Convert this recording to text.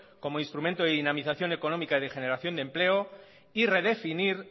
como instrumento de dinamización económica y de generación de empleo y redefinir